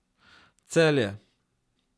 Celje.